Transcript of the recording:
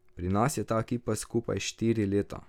Pri nas je ta ekipa skupaj štiri leta.